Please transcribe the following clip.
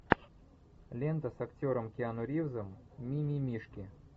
лента с актером киану ривзом мимимишки